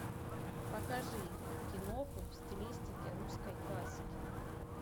покажи киноху в стилистике русской классики